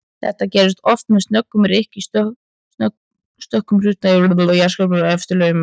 Þetta gerist oft með snöggum rykk í stökkum hluta jarðskorpunnar og efstu lögum möttulsins.